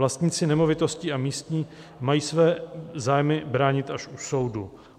Vlastníci nemovitostí a místní mají své zájmy bránit až u soudu.